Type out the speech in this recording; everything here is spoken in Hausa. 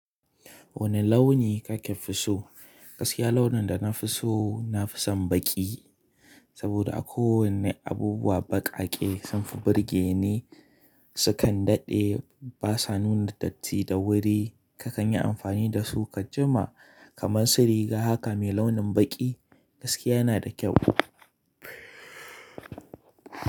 Wani launi kake fiso? Gaskiya launin da na fi so na fi son baƙi. Saboda akwai wani abubuwa baƙaƙe sun fi burge ni, sukan daɗe, basa nuna datti da wuri, kakan yi amfani da su ka jima kaman su riga. Haka mai launin baƙi gaskiya yana da kyau.